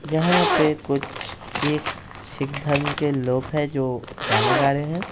यहां पे कुछ एक सिख धर्म के लोग हैं जो गाना गा रहे है।